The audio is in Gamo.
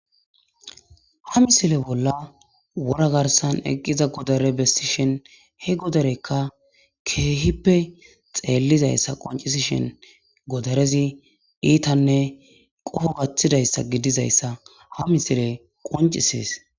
ha misile bolla wora garsan eqqiza godare bessishen he godarekka keehippe xeellizayssa qoncisi shen godarezi iitanne qoho gaththidayssa gidizayssa ha misile qoncisees